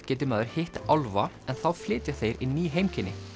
geti maður hitt álfa en þá flytja þeir í ný heimkynni